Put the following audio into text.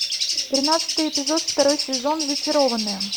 тринадцатый эпизод второй сезон зачарованные